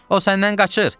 O sənnən qaçır.